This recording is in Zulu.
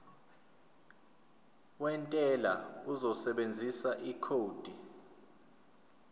wentela uzosebenzisa ikhodi